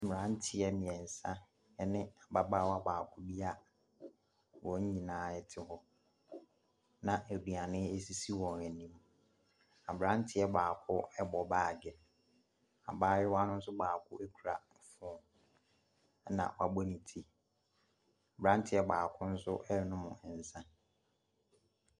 Mmeranteɛ mmeɛnsa ɛne ababaawa baako bi a wɔn nyinaa ɛte hɔ na aduane esisi wɔn anim. Aberanteɛ baako ɛbɔ baage, abaayewa no nso baako ekura ne fon, ɛna wabɔ ne ti. Aberanteɛ baako nso ɛɛnom nsa.